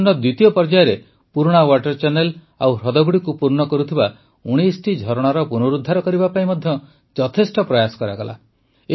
ମିଶନର ଦ୍ୱିତୀୟ ପର୍ଯ୍ୟାୟରେ ପୁରୁଣା ୱାଟର୍ ଚ୍ୟାନେଲ୍ ଓ ହ୍ରଦଗୁଡ଼ିକୁ ପୂର୍ଣ୍ଣ କରୁଥିବା ୧୯ଟି ଝରଣାର ପୁନରୁଦ୍ଧାର କରିବା ପାଇଁ ମଧ୍ୟ ଯଥେଷ୍ଟ ପ୍ରୟାସ କରାଗଲା